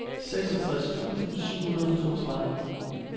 seksogtres tusind syv hundrede og toogtredive